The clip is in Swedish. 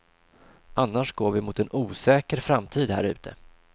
Annars går vi mot en osäker framtid härute.